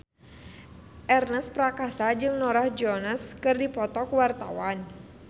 Ernest Prakasa jeung Norah Jones keur dipoto ku wartawan